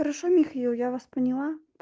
хорошо михаил я вас поняла